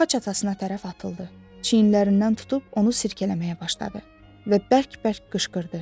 Xaç atasına tərəf atıldı, çiynlərindən tutub onu silkələməyə başladı və bərk-bərk qışqırdı.